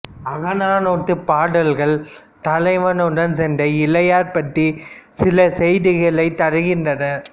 அகநானூற்றுப் பாடல்கள் தலைவனுடன் சென்ற இளையர் பற்றிச் சில செய்திகளைத் தருகின்றன